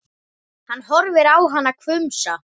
Hann horfir á hana hvumsa.